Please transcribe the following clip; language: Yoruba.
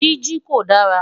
Jiji ko dara